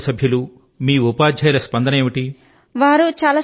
మీ కుటుంబ సభ్యులు మీ ఉపాధ్యాయుల స్పందన ఏమిటి